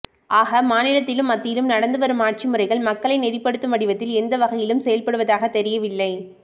ஆக மாநிலத்திலும் மத்தியிலும் நடந்து வரும் ஆட்சி முறைகள் மக்களை நெறிப்படுத்தும் வடிவத்தில் எந்த வகையிலும் செயல்படுவதாகத் தெரியவில்லை